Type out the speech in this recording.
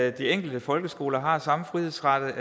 at de enkelte folkeskoler har samme frihedsgrader